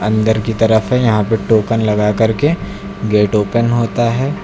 अंदर की तरफ है यहां पे टोकन लगा करके गेट ओपन होता है।